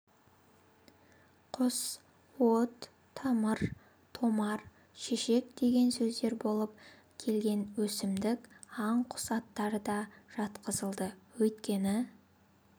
құс от тамыр томар шешек деген сөздер болып келген өсімдік аң-құс аттары да жатқызылды өйткені